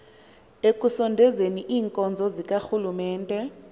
ekusondezeni iinkonzo zikarhulumente